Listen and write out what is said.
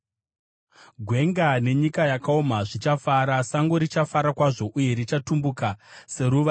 Gwenga nenyika yakaoma zvichafara; sango richafara kwazvo uye richatumbuka; seruva,